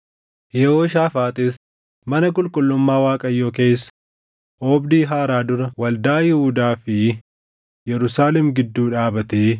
Yehooshaafaaxis mana qulqullummaa Waaqayyoo keessa oobdii haaraa dura waldaa Yihuudaa fi Yerusaalem gidduu dhaabatee